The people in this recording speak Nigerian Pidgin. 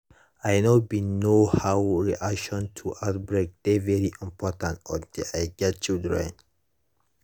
i know bin know how public reaction to outbreak dey very important until i get children